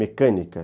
Mecânica.